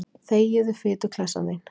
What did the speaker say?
Þegiðu, fituklessan þín.